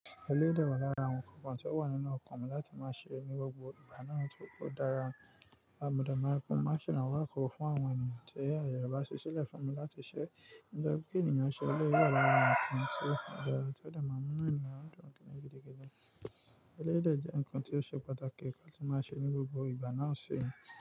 Eléyii de wà lára àwọn kọ̀ọ̀kan tí ó wà nínú ọkàn mi láti máa ṣe ní gbogbo ìgbà náà tó dára. Abuda máa kún má sì rán wá kuro fún àwọn ènìyàn tí aye bá ṣi sílẹ̀ fún mi láti ṣe. Ǹjẹ́ kí ènìyàn ṣẹ eléyi dè wà lára àwọn ǹkan tí o dara ti ó maa n mú Inu eeyan dun. Eléyi dè jẹ́ ǹkan tí ó ṣe pàtàkì kí á sì máa ṣe ní gbogbo ìgbà náà ṣe.